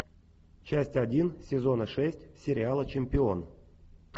часть один сезона шесть сериала чемпион